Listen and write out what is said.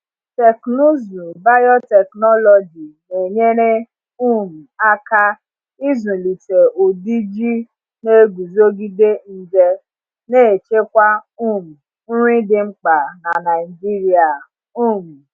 Teknụzụ biotechnology na-enyere um aka ịzụlite ụdị ji na-eguzogide nje, na-echekwa um nri dị mkpa n’Naijiria. um